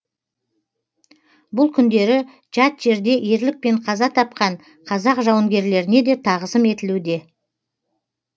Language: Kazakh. бұл күндері жат жерде ерлікпен қаза тапқан қазақ жауынгерлеріне де тағзым етілуде